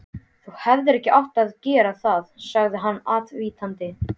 Þú hefðir ekki átt að gera það sagði hann ávítandi.